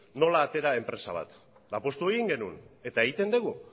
nola atera enpresa bat eta apustu egin genuen eta egiten dugu